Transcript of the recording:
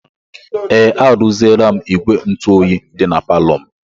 Ee, arụziela m ígwè ntụoyi dị na palọ m.